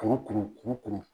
Kɔgɔ kɔnɔ kuru kɔnɔ